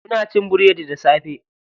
Muna cin biredi da safe.